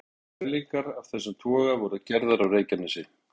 Fyrstu mælingar af þessu tagi voru gerðar á Reykjanesi.